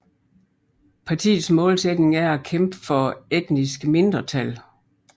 Partiets målsætning er at kæmpe for etniske mindretal